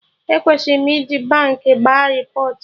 E kwesiri m ije Baankị gba repọt